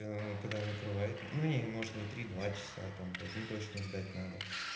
когда накрывает ну не может не три два часа там блять ну точно ждать надо